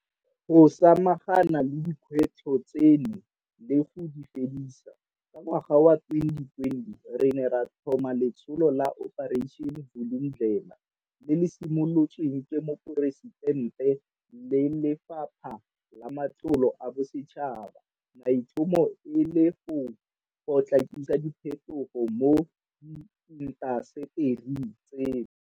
Go samagana le dikgwetlho tseno le go di fedisa, ka ngwaga wa 2020 re ne ra tlhoma letsholo la Operation Vulindlela le le simolotsweng ke Moporesitente le Lefapha la Matlotlo a Bosetšhaba maitlhomo e le go potlakisa diphetogo mo diintasetering tseno.